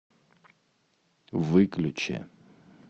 выключи